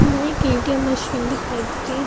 यहाँ एक ATM. Machine दिखाई दे रही है।